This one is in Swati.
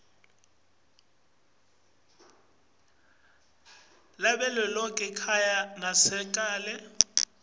lavelonkhe kanye nasekela